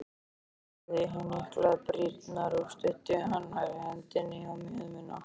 Hún hafði hnyklað brýnnar og studdi annarri hendinni á mjöðmina.